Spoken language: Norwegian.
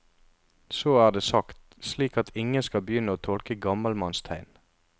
Så er det sagt, slik at ingen skal begynne å tolke gammelmannstegn.